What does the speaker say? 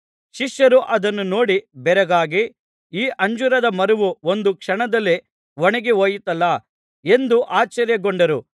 ಶಿಷ್ಯರು ಅದನ್ನು ನೋಡಿ ಬೆರಗಾಗಿ ಈ ಅಂಜೂರದ ಮರವು ಒಂದು ಕ್ಷಣದಲ್ಲೇ ಒಣಗಿಹೋಯಿತಲ್ಲಾ ಎಂದು ಆಶ್ಚರ್ಯಗೊಂಡರು